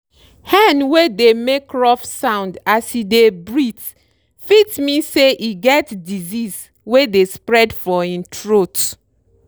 hen wey dey make rough sound as e dey breathe fit mean say e get disease wey dey spread for im throat.